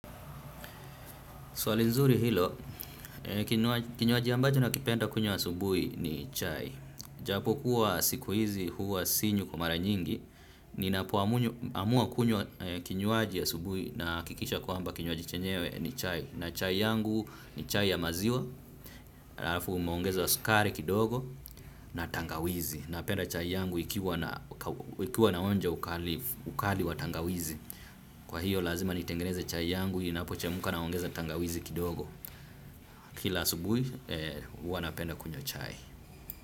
Swali nzuri hilo, kinywaji ambacho nakipenda kunywa asubui ni chai. Japo kuwa sikuizi huwa sinywi kwa mara nyingi, ninapoamua kinywaji asubui nahakikisha kwaamba kinywaji chenyewe ni chai. Na chai yangu ni chai ya maziwa, alafu unaongeza sukari kidogo na tangawizi. Napenda chai yangu ikiwa ina onja ukali wa tangawizi. Kwa hiyo lazima nitengeneze chai yangu, inapochemka naongeza tangawizi kidogo. Kila asubui, uwa napenda kunywa chai.